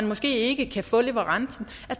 måske ikke kan få leverancen